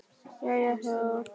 Jæja já?